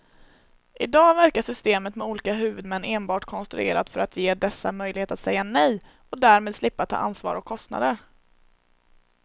I dag verkar systemet med olika huvudmän enbart konstruerat för att ge dessa möjlighet att säga nej och därmed slippa ta ansvar och kostnader.